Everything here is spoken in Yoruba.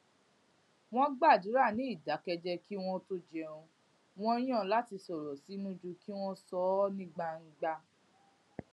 wón gbàdúrà ní ìdákéjéé kí wón tó jẹun wón yàn láti sọrọ sínú ju kí wón sọ ó ní gbangba